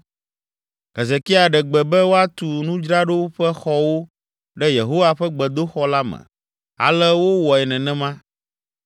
Hezekia ɖe gbe be woatu nudzraɖoƒexɔwo ɖe Yehowa ƒe gbedoxɔ la me, ale wowɔe nenema.